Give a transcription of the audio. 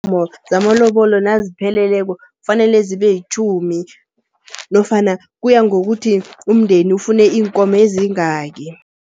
Iinkomo zamalobolo nazipheleleko fanele zibe yitjhumi nofana kuya ngokuthi umndeni ufune iinkomo ezingaki.